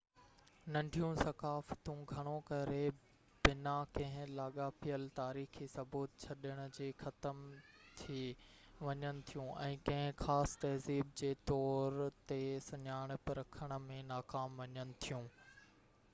ننڍيون ثقافتون گهڻو ڪري بنا ڪنهن لاڳاپيل تاريخي ثبوت ڇڏڻ جي ختم ٿي وڃن ٿيون ۽ ڪنهن خاص تهذيب جي طور تي سڃاڻپ رکڻ ۾ ناڪام وڃن ٿيون